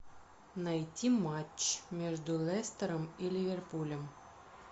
найти матч между лестером и ливерпулем